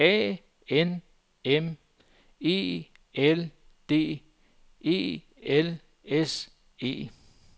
A N M E L D E L S E